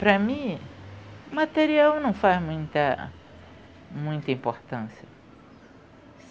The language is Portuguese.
Para mim, o material não faz muita, muita importância.